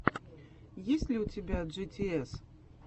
есть ли у тебя джитиэс